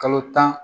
Kalo tan